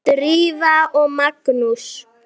Drífa og Magnús.